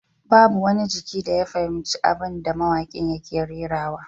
Babu wani jiki da ya fahimci abin da mawakin yake rerawa